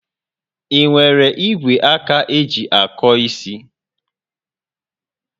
Ị nwere igwe aka eji akọ isi?